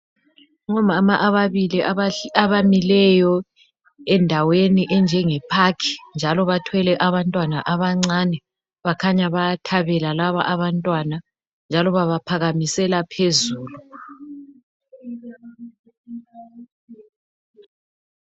Ngomama ababili abamileyo endaweni enjenge park njalo bathwele abantwana abancane bakhanya bayathabela laba bantwana, njalo babaphakamisela phezulu.